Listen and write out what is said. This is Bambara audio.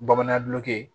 Bamanan dulon